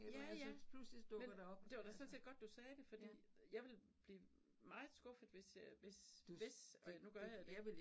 Ja ja men det var da sådan set godt du sagde fordi jeg ville blive meget skuffet hvis jeg hvis hvis og nu gør jeg det ikke